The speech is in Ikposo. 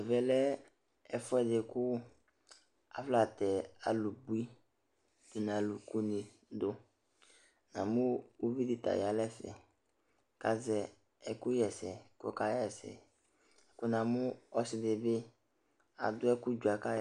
Ɛvɛ lɛ ɛfʋɛdɩ dɩ kʋ afɔnatɛ alʋbui dʋ nʋ alʋkunɩ dʋ Namʋ uvi dɩ ta ya nʋ ɛfɛ kʋ azɛ ɛkʋɣa ɛsɛ kʋ ɔkaɣa ɛsɛ kʋ namʋ ɔsɩ dɩ bɩ adʋ ɛkʋ dzuǝ kʋ